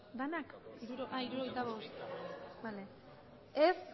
aurkako